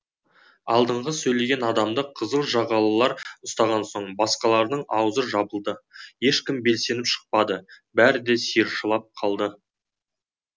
алдыңғы сөйлеген адамды қызыл жағалылар ұстаған соң басқалардың аузы жабылды ешкім белсеніп шықпады бәрі де сиыршылап қалды